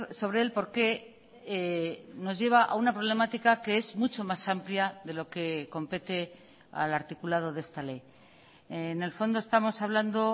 sobre él porque nos lleva a una problemática que es mucho más amplia de lo que compete al articulado de esta ley en el fondo estamos hablando